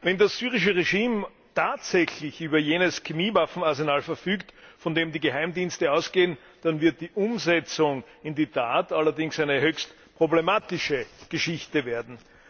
Wenn das syrische Regime tatsächlich über jenes Chemiewaffenarsenal verfügt, von dem die Geheimdienste ausgehen, dann wird die Umsetzung in die Tat allerdings eine höchst problematische Geschichte werden.